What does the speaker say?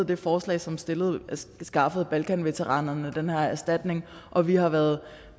det forslag som skaffede balkanveteranerne den her erstatning og vi har været